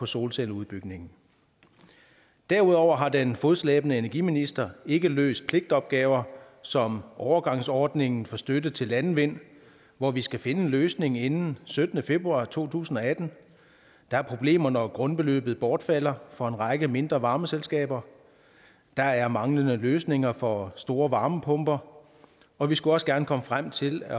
solcelleudbygningen derudover har den fodslæbende energiminister ikke løst pligtopgaver som overgangsordningen for støtte til landvind hvor vi skal finde en løsning inden syttende februar to tusind og atten der er problemer når grundbeløbet bortfalder for en række mindre varmeselskaber der er manglende løsninger for store varmepumper og vi skulle også gerne komme frem til at